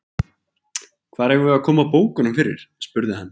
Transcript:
Hvar eigum við að koma bókunum fyrir? spurði hann.